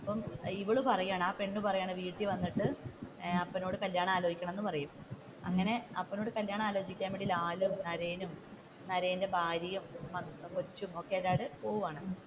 അപ്പൊ ഇവൾ പറയുകയാണ് ആ പെണ് പറയുകയാണ് വീട്ടിൽ വന്നിട്ട് അപ്പനോട് കല്യാണം ആലോചിക്കണം എന്ന് പറയുന്നു. അങ്ങനെ അപ്പനോട് കല്യാണം ആലോചിക്കാൻ ലാലും, നരയനും, നരയന്റെ ഭാര്യയും, കൊച്ചുമൊക്കെയായിട്ട് പോവുകയാണ്.